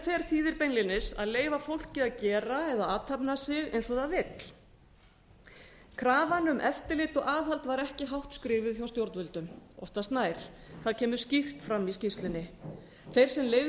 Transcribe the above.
letterfer þýðir beinlínis að leyfa fólki að gera eða athafna sig eins og það vill krafan um eftirlit og aðhald var ekki hátt skrifuð hjá stjórnvöldum oftast nær það kemur skýrt fram í skýrslunni þeir sem leyfðu